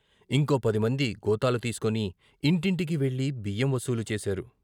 ఇంకో పదిమంది గోతాలు తీసుకుని ఇంటింటికీ వెళ్ళి బియ్యం వసూలు చేశారు.